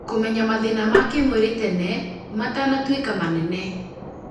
kũmenya mathĩna ma kĩmwĩrĩ tene matanatuĩka mĩnene.